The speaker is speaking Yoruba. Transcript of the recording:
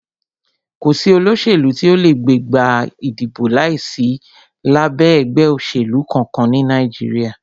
Kò sí olóṣèlú tí o lè gbégbá ìdìbò láìsí lábẹ́ ẹgbẹ́ òṣèlú kankan ní Nàìjíríà.